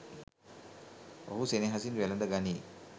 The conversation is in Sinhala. ඔහු සෙනෙහසින් වැළඳ ගනියි